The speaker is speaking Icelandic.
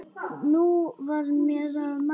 Nú var mér að mæta!